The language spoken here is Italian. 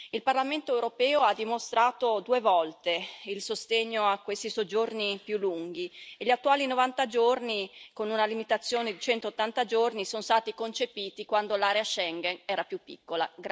Il Parlamento europeo ha dimostrato, due volte, il sostegno a questi soggiorni più lunghi e gli attuali 90 giorni con una limitazione di 180 giorni sono stati concepiti quando l'area di Schengen era più piccola.